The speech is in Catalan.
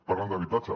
parlen d’habitatge